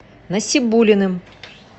насибуллиным